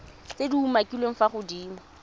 tse di umakiliweng fa godimo